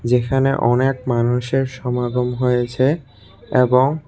এখানে অনেক মানুষের সমাগম হয়েছে এবং--